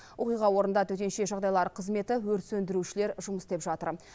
оқиға орнында төтенше жағдайлар қызметі өрт сөндірушілер жұмыс істеп жатыр